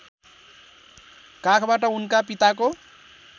काखबाट उनका पिताको